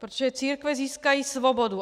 Protože církve získají svobodu.